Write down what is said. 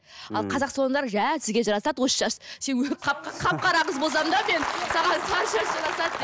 ал қазақ салондары жә сізге жарасады осы шаш сен қап қара қыз болсам да мен саған сары шаш жарасады деп